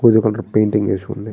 Colour painting వేసి ఉంది.